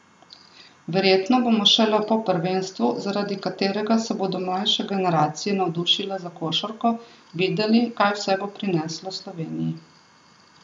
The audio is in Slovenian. Verjetno bomo šele po prvenstvu, zaradi katerega se bodo mlajše generacije navdušile za košarko, videli kaj vse bo prineslo Sloveniji.